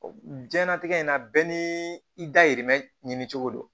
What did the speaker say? Jiɲɛnatigɛ in na bɛɛ ni i dayirimɛ ɲini cogo don